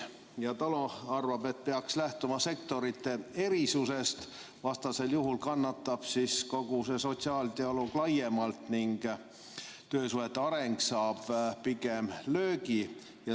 TALO arvab, et peaks lähtuma sektorite erisusest, vastasel juhul kannatab kogu see sotsiaaldialoog laiemalt ning töösuhete areng saab pigem löögi.